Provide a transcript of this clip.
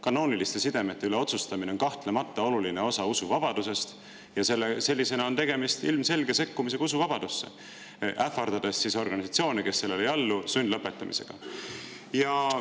Kanooniliste sidemete üle otsustamine on kahtlemata oluline osa usuvabadusest ja sellisena on tegemist ilmselge sekkumisega usuvabadusse, ähvardades organisatsioone, kes sellele ei allu, sundlõpetamisega.